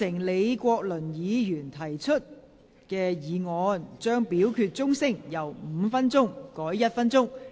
李國麟議員提出議案，將表決響鐘時間由5分鐘縮短為1分鐘。